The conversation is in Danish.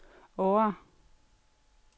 Årre